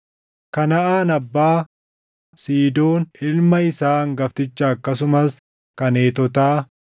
Kanaʼaan abbaa Siidoon ilma isaa hangaftichaa akkasumas kan Heetotaa,